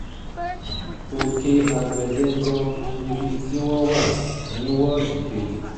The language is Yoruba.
òkè àgbẹ̀dẹ gan-an níbi tí wọ́n tí wọ́n wà ní wọ́ọ̀dù kejì